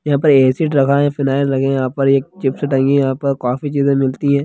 यहाँ पे एसिड रखा है फिनायल रखे है यहां पर एक चिप्स टंगी है यहां पर काफी चीज़े मिलती है।